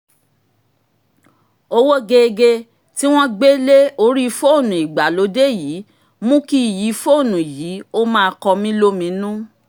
owó geegee tí wọ́n gbé lé orí fóònù ìgbàlódé yìí mú kí iyì fóònù yìí ó máa kọmílóminú